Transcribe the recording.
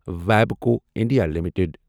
ویبکو India limited